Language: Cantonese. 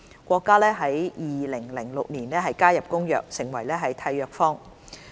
國家於2006年加入《公約》，成為締約方。